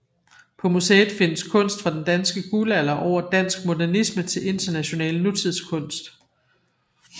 På museet findes kunst fra den danske guldalder over dansk modernisme til international nutidskunst